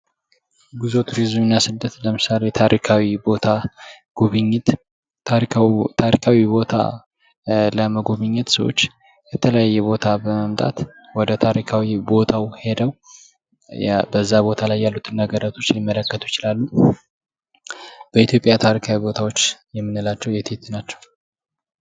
ጉዞ ቱሪዝም እና ስደት ለምሳሌ ታሪካዊ ቦታ ጉብኝት ታሪካዊ ቦታ ታሪካዊ ቦታ ለመጎብኘት ሰዎች የተለያየ ቦታ በመምጣት ወደ ታሪካዊ ቦታው ሄደው በዛ ቦታ ላይ ያለውን ነገራቶች ሊመለከቱ ይችላሉ። በኢትዮጵያ ታሪካዊ ቦታዎች የምንላቸው የት የት ናቸው?